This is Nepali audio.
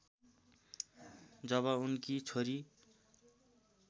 जब उनकी छोरी